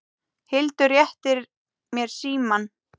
Hildur réttir mér símann.